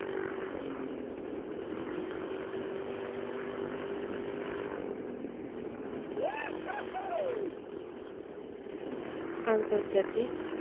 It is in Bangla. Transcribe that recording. আন্তর্জাতিক